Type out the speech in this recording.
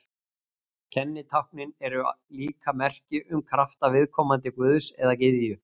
Kennitáknin eru líka merki um krafta viðkomandi guðs eða gyðju.